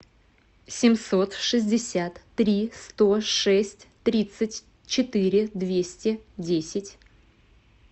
семьсот шестьдесят три сто шесть тридцать четыре двести десять